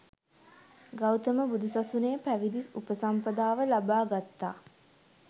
ගෞතම බුදු සසනේ පැවිදි උපසම්පදාව ලබා ගත්තා.